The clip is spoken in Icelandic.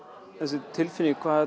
þessi tilfinning hvað